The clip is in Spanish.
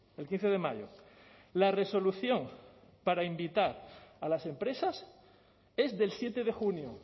el quince de mayo la resolución para invitar a las empresas es del siete de junio